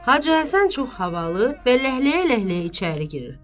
Hacı Həsən çox havalı və ləhləyə-ləhləyə içəri girir.